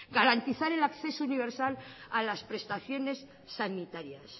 garantizar el acceso universal a las prestaciones sanitarias